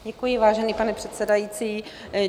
Děkuji, vážený pane předsedající.